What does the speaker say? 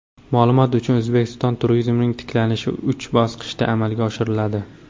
Ma’lumot uchun, O‘zbekistonda turizmning tiklanishi uch bosqichda amalga oshiriladi .